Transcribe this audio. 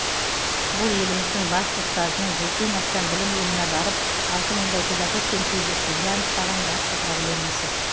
бұл еліміздің басты ұстазының жүзден астам білім ұйымына барып алты мыңдай педагогпен кездескенде анықтаған басты проблемасы